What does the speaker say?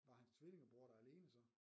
Var hans tvillingebror der alene så?